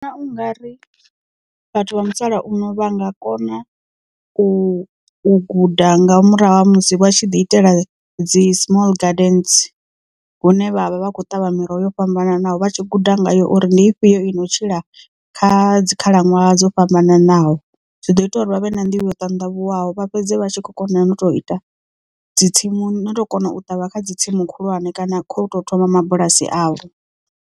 Ndi vhona unga ri vhathu vha musalauno vha nga kona u guda nga murahu ha musi vha tshi ḓi itela dzi small gardens hune vha vha vha khou ṱavha miroho yo fhambananaho vha tshi guda ngayo uri ndi ifhio i no tshila kha dzi khalaṅwaha dzo fhambananaho zwi ḓo ita uri vhavhe na nḓivho yo ṱandavhuwaho vha fhedze vha tshi kho kona na u to ita dzi tsimu no to kona u ṱavha kha dzi tsimu khulwane kana kho to thoma mabulasi avho.